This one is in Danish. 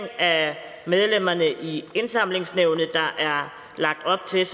af medlemmerne i indsamlingsnævnet der er lagt op til